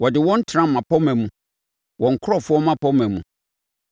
ɔde wɔn tena mmapɔmma mu, wɔn nkurɔfoɔ mmapɔmma mu.